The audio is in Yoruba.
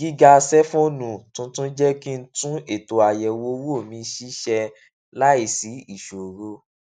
gíga sẹẹfóònù tuntun jé kí n tún ètò àyẹwò owó mi ṣiṣẹ láìsí ìṣòro